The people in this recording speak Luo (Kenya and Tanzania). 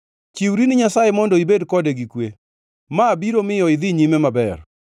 “Chiwri ni Nyasaye mondo ibed kode gi kwe, ma biro miyo idhi nyime maber.